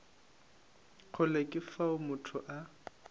kgole ke fao motho a